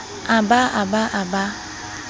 a ba a ba a